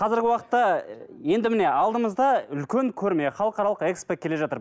қазіргі уақытта енді міне алдымызда үлкен көрме халықаралық экспо келе жатыр